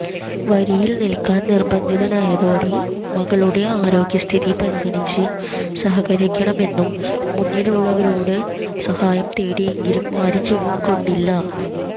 വരിയിൽ നിൽക്കാൻ നിർബന്ധിതനായതോടെ മകളുടെ ആരോഗ്യസ്ഥിതി പരിഗണിച്ച് സഹകരിക്കണമെന്ന് മുന്നിലുള്ളവരോട് സഹായം തേടിയെങ്കിലും ആരും ചെവികൊണ്ടില്ല